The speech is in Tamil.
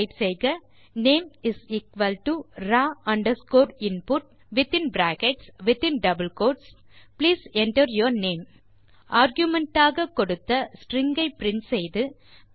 டைப் செய்க name raw underscore input within brackets within double quotes please enter your name argument ஆக கொடுத்த ஸ்ட்ரிங் ஐ பிரின்ட் செய்து